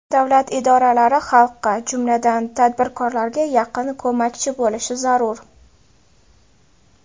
Davlat idoralari xalqqa, jumladan, tadbirkorlarga yaqin ko‘makchi bo‘lishi zarur.